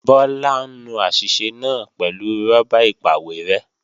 Bọ́lá ń nu àṣìṣe náà pẹ̀lú rọ́bà ìpàwérẹ́